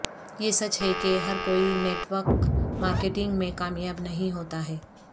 یہ سچ ہے کہ ہر کوئی نیٹ ورک مارکیٹنگ میں کامیاب نہیں ہوتا ہے